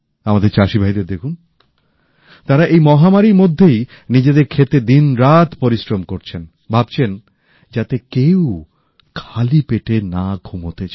আমাদের চাষীভাইদের দেখুন তারা এই মহামারীর মধ্যেই নিজেদের ক্ষেতে দিনরাত পরিশ্রম করছেন ভাবছেন যাতে কেউ খালি পেটে না ঘুমোতে যায়